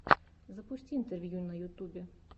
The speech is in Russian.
запусти интервью на ютубе